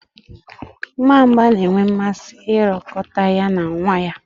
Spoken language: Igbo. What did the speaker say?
Nwamba na-enwe mmasị ịrọkọta ya na nwa ya.